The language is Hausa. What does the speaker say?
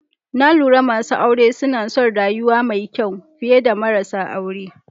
Na lura masu aure suna son rayuwa mai kyau fiye da marasa aure.